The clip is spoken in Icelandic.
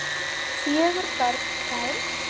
Fjögur börn fermd.